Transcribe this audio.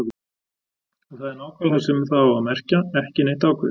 Og það er nákvæmlega það sem það á að merkja: ekki neitt ákveðið.